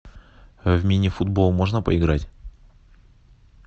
в мини футбол можно поиграть